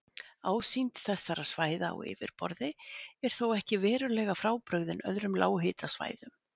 Ásýnd þessara svæða á yfirborði er þó ekki verulega frábrugðin öðrum lághitasvæðum.